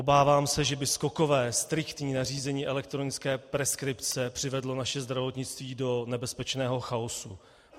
Obávám se, že by skokové, striktní nařízení elektronické preskripce přivedlo naše zdravotnictví do nebezpečného chaosu.